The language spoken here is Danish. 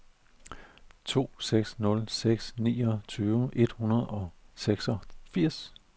to seks nul seks niogtyve et hundrede og seksogfirs